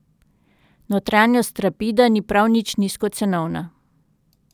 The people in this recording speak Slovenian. Notranjost rapida ni prav nič nizkocenovna.